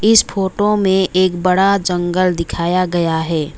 इस फोटो में एक बड़ा जंगल दिखाया गया है।